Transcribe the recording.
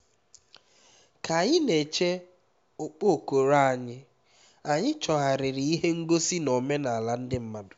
ka anyị na-eche okpokoro anyị anyị chọgharịrị ihe ngosi na omenala ndị mmadụ